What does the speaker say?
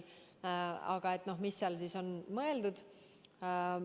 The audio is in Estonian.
Mida me ikkgi oleme mõelnud?